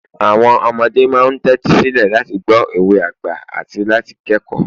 àwọn ọmọdé ma n tẹtisilẹ láti gbọ òwe àgbà ati láti kẹkọọ